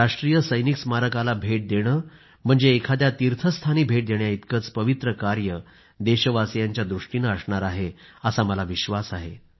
या राष्ट्रीय सैनिक स्मारकाला भेट देणं म्हणजे एखाद्या तीर्थस्थानी भेट देण्याइतकंच पवित्र कार्य देशवासियांच्या दृष्टीनं असणार आहे असा मला विश्वास आहे